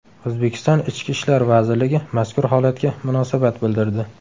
O‘zbekiston Ichki ishlar vazirligi mazkur holatga munosabat bildirdi .